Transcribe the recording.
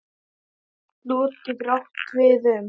Slot getur átt við um